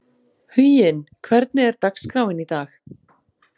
Huginn, hvernig er dagskráin í dag?